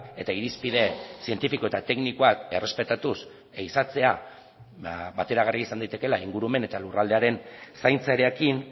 eta irizpide zientifiko eta teknikoak errespetatuz ehizatzea bateragarria izan daitekeela ingurumen eta lurraldearen zaintzarekin